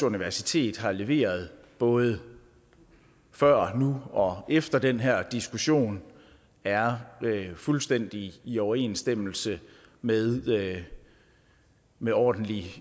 universitet har leveret både før og nu og vil efter den her diskussion er fuldstændig i overensstemmelse med med ordentlig